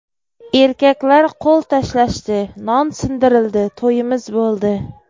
Erkaklar qo‘l tashlashdi, non sindirildi, to‘yimiz bo‘ldi.